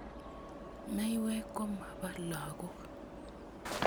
Maiwek komapo lagok